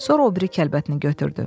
Sonra o biri kəlbətini götürdü.